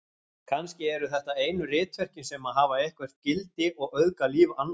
Kannski eru þetta einu ritverkin sem hafa eitthvert gildi og auðga líf annarra.